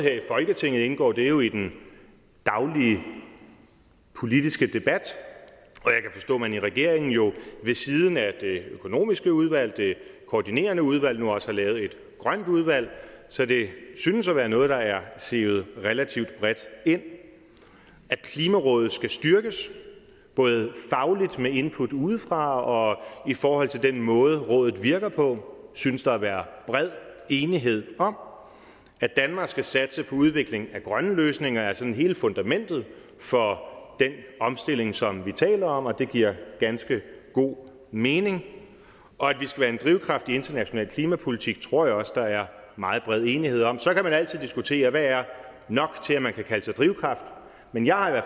folketinget indgår det jo i den daglige politiske debat og man i regeringen jo ved siden af det økonomiske udvalg det koordinerende udvalg nu også har lavet et grønt udvalg så det synes at være noget der er sivet relativt bredt ind at klimarådet skal styrkes både fagligt med input udefra og i forhold til den måde rådet virker på synes der at være bred enighed om at danmark skal satse på udvikling af grønne løsninger er sådan hele fundamentet for den omstilling som vi taler om og det giver ganske god mening og at vi skal være en drivkraft i international klimapolitik tror jeg også der er meget bred enighed om så kan man altid diskutere hvad der er nok til at man kan kalde sig drivkraft men jeg har i